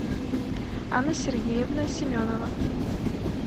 анна сергеевна семенова